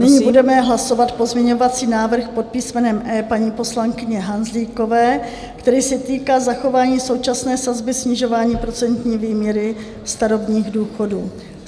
Nyní budeme hlasovat pozměňovací návrh pod písmenem E paní poslankyně Hanzlíkové, který se týká zachování současné sazby snižování procentní výměry starobních důchodů.